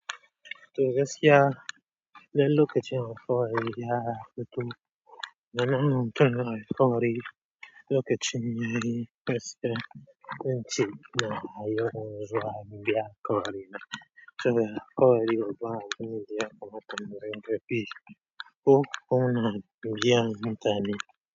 To gaskiya, dan lokacin ya fito, nama mutum alkawari lokacin yayi gaskiya, zance nama mutum Alkawarin Abuja. To kawai yau, ba abinda yakamata mu rinka bi. Ko kuna biyan mutane?